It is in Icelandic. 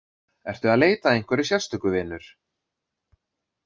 Ertu að leita að einhverju sérstöku, vinur?